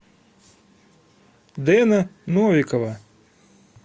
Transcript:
дэна новикова